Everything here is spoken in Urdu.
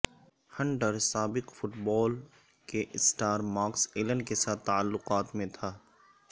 ہنٹر سابق فٹ بال کے اسٹار مارکس ایلن کے ساتھ تعلقات میں تھا